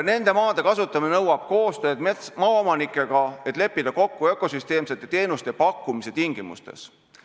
Nende maade kasutamine nõuab koostööd maaomanikega, et leppida kokku ökosüsteemsete teenuste pakkumise tingimustes.